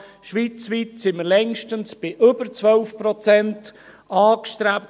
Schweizweit sind wir längstens bei über 12 Prozent.